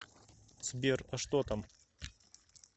сбер а что там